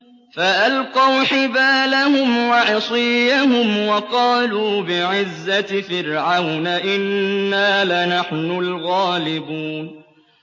فَأَلْقَوْا حِبَالَهُمْ وَعِصِيَّهُمْ وَقَالُوا بِعِزَّةِ فِرْعَوْنَ إِنَّا لَنَحْنُ الْغَالِبُونَ